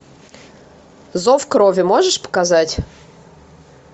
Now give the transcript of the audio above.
зов крови можешь показать